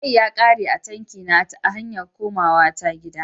Mai ya ƙare a tanki na a hanya ta takomawa gida.